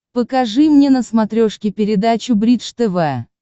покажи мне на смотрешке передачу бридж тв